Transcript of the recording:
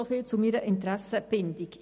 Soviel zu meiner Interessenbindung.